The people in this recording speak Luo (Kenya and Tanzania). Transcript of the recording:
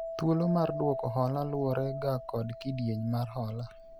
thuolo mar dwoko hola luwore ga kod kidieny mar hola